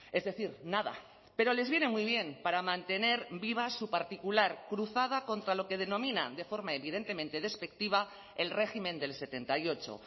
es decir nada pero les viene muy bien para mantener viva su particular cruzada contra lo que denominan de forma evidentemente despectiva el régimen del setenta y ocho